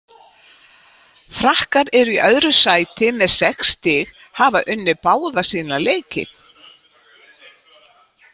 Frakkar eru í öðru sæti með sex stig hafa unnið báða sína leiki.